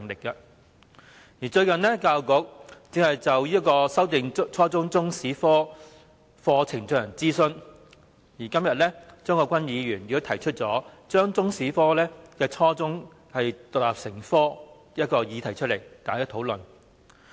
近日，教育局正就修訂初中中史科課程進行諮詢，而今天張國鈞議員也提出把初中中史獨立成科的議案辯論，讓大家進行討論。